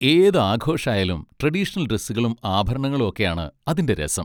ഏത് ആഘോഷായാലും ട്രഡീഷണൽ ഡ്രെസ്സുകളും ആഭരണങ്ങളും ഒക്കെയാണ് അതിൻ്റെ രസം.